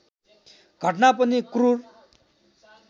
घटना पनि क्रूर